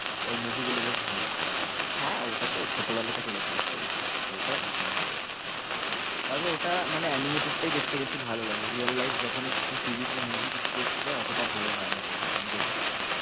ওর movie গুলো বেশ ভালো হ্যাঁ, ওটা তো ছোটবেলা থেকেই দেখে আসছি একদম, ওটা ভীষণ ভালো লাগে তবে ওটা মানে animated টাই দেখতে বেশি ভালো লাগে real life যখনই কিছু series বা movie কিছু করতে যাই, অতটা ভালো হয় না সেটা, আর আমি দেখেছি,